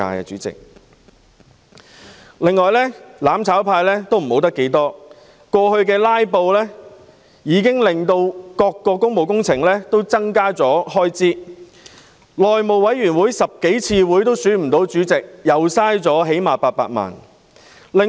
此外，"攬炒派"過去"拉布"，令各項工務工程開支增加，內務委員會召開了10多次會議也無法選出主席，又最少浪費800萬元。